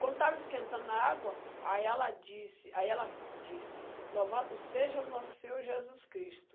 Quando estava esquentando a água, aí ela disse, aí ela disse, louvado seja o nosso Senhor Jesus Cristo.